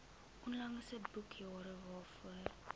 onlangse boekjare waarvoor